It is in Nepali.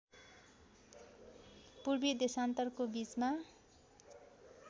पूर्वी देशान्तरको बीचमा